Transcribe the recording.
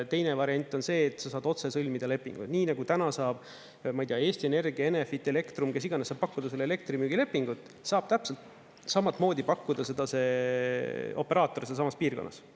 Teine variant on see, et sa saad otse sõlmida lepinguid, nii nagu täna saab, ma ei tea, Eesti Energia, Enefit, Elektrum, kes iganes saab pakkuda elektrimüügilepingut, saab täpselt samamoodi pakkuda seda see operaator sealsamas piirkonnas.